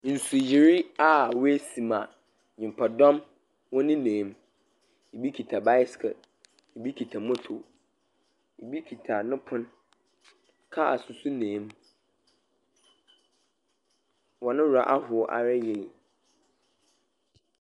Nsuyiri a woesi ma nyimpadɔm nenam mu, bi kitsa bicycle, bi kita moto, bi kita no pon, cars so nam mu. Hɔn werɔ ahow ara yie.